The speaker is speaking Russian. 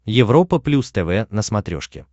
европа плюс тв на смотрешке